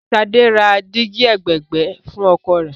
Ṣadé ra dígí ẹ̀gbẹ̀ẹ̀gbẹ́ fún ọkọ̀ rẹ̀.